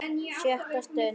SJÖTTA STUND